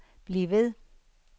bliv ved